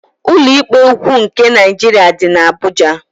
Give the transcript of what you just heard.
Ụlọikpe ukwu nke Naịjirịa dị n'Abuja.